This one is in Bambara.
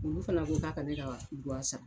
Olu fɛnɛ ko ka ka ne ka wari sara.